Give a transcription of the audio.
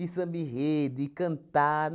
samba-enredo, e cantar.